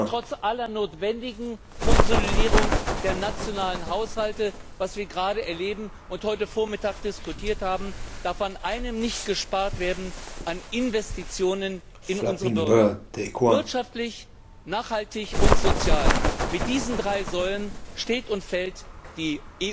Trotz aller notwendigen Konsolidierung der nationalen Haushalte was wir gerade erleben und heute Vormittag diskutiert haben darf bei einem nicht gespart werden bei den Investitionen in unsere Bürger. Wirtschaftlich, nachhaltig und sozial, mit diesen drei Säulen steht und fällt